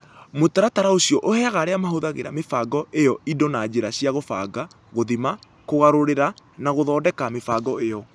Mũtaratara ũcio ũheaga arĩa mahũthagĩra mĩbango ĩyo indo na njĩra cia kũbanga, gũthima, kũgarũrĩra, na gũthondeka mĩbango ĩyo.